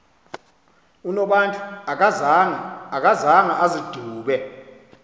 unobantu akazanga azidube